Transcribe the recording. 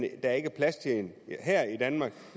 at der ikke er plads til den her i danmark